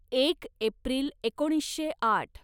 एक एप्रिल एकोणीसशे आठ